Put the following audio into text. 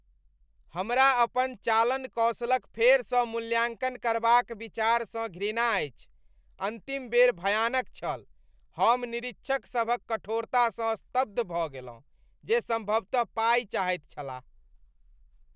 हमरा अपन चालन कौशलक फेरसँ मूल्याँकन करबाक विचारसँ घृणा अछि। अन्तिम बेर भयानक छल। हम निरीक्षकसभक कठोरतासँ स्तब्ध भऽ गेलहुँ जे सम्भवतः पाइ चाहैत छलाह।